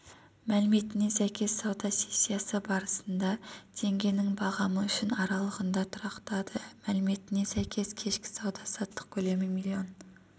мәліметіне сәйкес сауда сессиясы барысында теңгенің бағамы үшін аралығында тұрақтады мәліметіне сәйкес кешкі сауда-саттық көлемі миллион